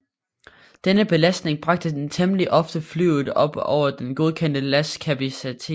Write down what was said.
Denne belastning bragte temmelig ofte flyet op over den godkendte lastkapacitet